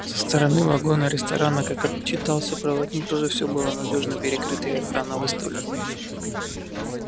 со стороны вагона-ресторана как отчитался проводник тоже все было надёжно перекрыто и охрана выставлена